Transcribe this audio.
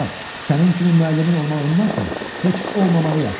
Sənin kimi müəllimin olmağındansa heç olmamağı yaxşıdır.